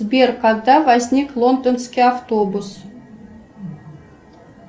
сбер когда возник лондонский автобус